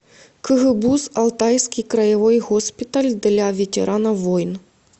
кгбуз алтайский краевой госпиталь для ветеранов войн